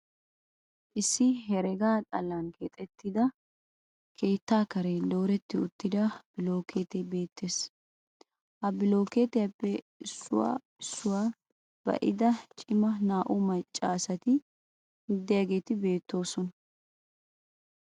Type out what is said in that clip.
Issi herega xallan keexettida keettaa Karen dooretti uttida bilookkeetee beettes. Ha bilookkeetiyappe issuwa issuwa ba'ida cima naa"u maccaasati diyageeti beettoosona.